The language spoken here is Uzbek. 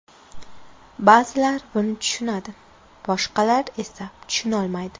Ba’zilar buni tushunadi, boshqalar esa tushunolmaydi.